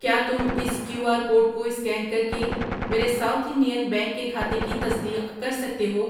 کیا تم اس کیو آر کوڈ کو اسکین کر کے میرے ساؤتھ انڈین بینک کے کھاتے کی تصدیق کر سکتے ہو؟